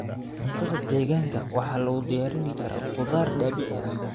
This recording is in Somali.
Cuntada deegaanka waxaa lagu diyaarin karaa khudaar dabiici ah.